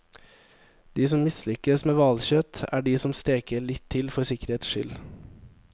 De som mislykkes med hvalkjøtt, er de som steker litt til for sikkerhets skyld.